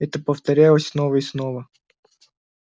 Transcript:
это повторялось снова и снова